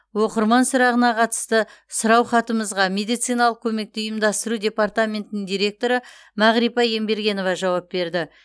оқырман сұрағына қатысты сұраухатымызға медициналық көмекті ұйымдастыру департаментінің директоры мағрипа ембергенова жауап берді